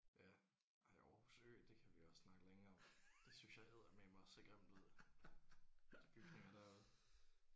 Ja ej Aarhus Ø det kan vi også snakke længe om. Det synes jeg eddermaneme også ser grimt ud de bygninger derude